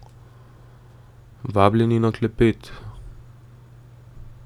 Vabljeni na klepet!